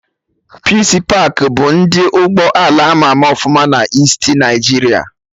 Peace pakị bụ ndị ụgbọ ala ama ama ọfụma na Easti Naịjiria